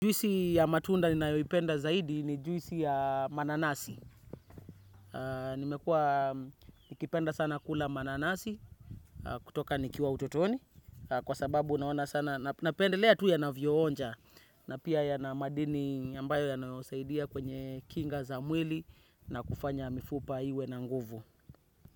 Juisi ya matunda ninayoipenda zaidi ni juisi ya mananasi. Nimekuwa nikipenda sana kula mananasi kutoka nikiwa utotoni. Kwa sababu naona sana napendelea tu ya navyoonja. Na pia yana madini ambayo yanayosaidia kwenye kinga za mwili na kufanya mifupa iwe na nguvu.